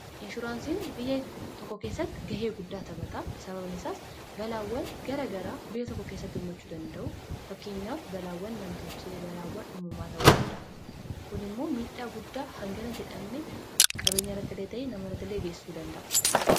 inshuraansiin biyya tokko keessatti gahee guddaa tabataa sababnesaas balaawwal gara garaa biyya tokko keessatti ummachuu danda'u fakkeenyaaf balaawwan namtochee balaawwan umumaa ta'u danda'a kun immoo miidhaa guddaa hangara jedhamne qabeenya irratilee ta'ee namarratilee geessuu danda'a